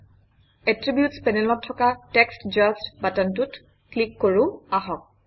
attributes পেনেলত থকা text just বাটনটোত ক্লিক কৰোঁ আহক